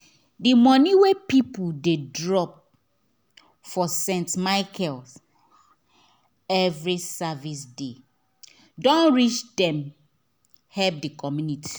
the money wey people dey drop for st michael every service day don reach them help the community